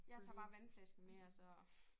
Jeg tager bare vandflasken med og så